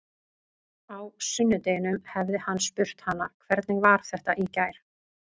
Á sunnudeginum hefði hann spurt hana: Hvernig var þetta í gær?